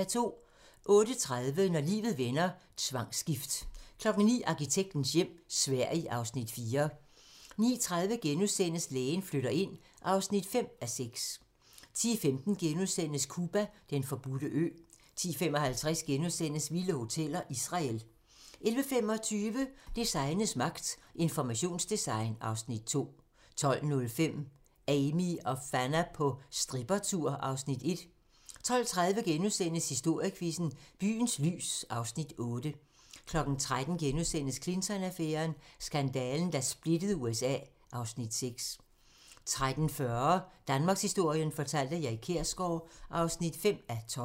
08:30: Når livet vender: Tvangsgift 09:00: Arkitektens hjem - Sverige (Afs. 4) 09:30: Lægen flytter ind (5:6)* 10:15: Cuba: Den forbudte ø * 10:55: Vilde hoteller: Israel * 11:25: Designets magt - Informationsdesign (Afs. 2) 12:05: Amie og Fanna på strippertur (Afs. 1) 12:30: Historiequizzen: Byens lys (Afs. 8)* 13:00: Clinton-affæren: Skandalen, der splittede USA (Afs. 6)* 13:40: Danmarkshistorien fortalt af Erik Kjersgaard (5:12)